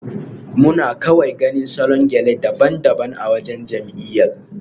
Muna kawai ganin salon gele daban-daban a waccan jam'iyyar.